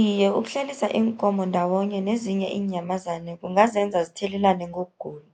Iye, ukuhlalisa iinkomo ndawonye nezinye inyamazana kungazenza zithelelane ngokugula.